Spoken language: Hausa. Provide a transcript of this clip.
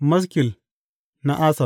Maskil na Asaf.